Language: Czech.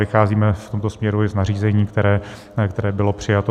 Vycházíme v tomto směru i z nařízení, které bylo přijato.